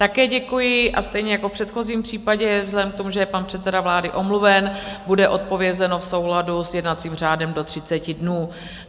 Také děkuji a stejně jako v předchozím případě vzhledem k tomu, že je pan předseda vlády omluven, bude odpovězeno v souladu s jednacím řádem do 30 dnů.